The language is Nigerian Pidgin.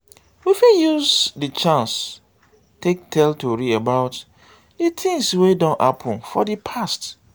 we fit use di chance take tell tori about di di things wey don happen for di past